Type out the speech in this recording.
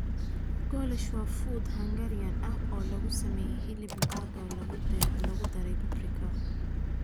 Goulash waa fuud Hungarian ah oo lagu sameeyay hilib lo'aad oo lagu daray paprika.